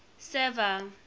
server